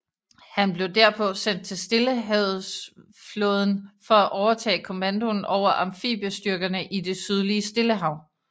Han blev derpå sendt til stillehavetsflåden for at overtage kommandoen over amfibiestyrkerne i det sydlige stillehav